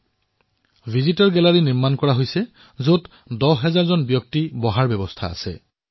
দৰ্শনাৰ্থীৰ বাবে এক গেলেৰী নিৰ্মাণ কৰা হৈছে যত ১০ হাজাৰ লোকে বহি এয়া প্ৰত্যক্ষ কৰিব পাৰিব